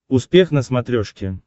успех на смотрешке